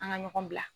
An ka ɲɔgɔn bila